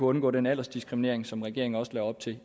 undgå den aldersdiskriminering som regeringen også lagde op til